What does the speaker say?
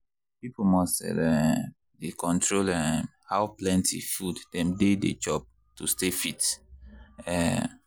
people must um dey control um how plenty food dem dey dey chop to stay fit. um